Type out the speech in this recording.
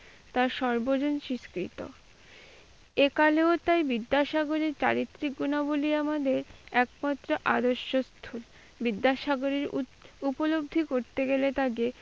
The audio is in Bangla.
তা সর্বজন স্বীকৃত। এইকালেও তাই বিদ্যাসাগরের চারিত্রিক গুণাবলী আমাদের একমাত্র আদর্শ। বিদ্যাসাগরের উপলব্ধি করতে গেলে তাকে,